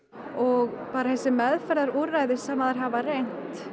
og bara þessi meðferðarúrræði sem þær hafa reynt